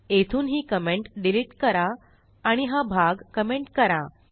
येथून ही commentडिलिट करा आणि हा भाग कमेंट करा